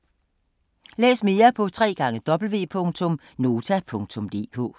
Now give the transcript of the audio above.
Læs mere på www.nota.dk